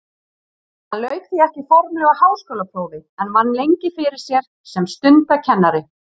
Hann lauk því ekki formlegu háskólaprófi en vann lengi fyrir sér sem stundakennari.